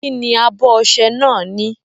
Kí ni abọ ọṣẹ náà ní?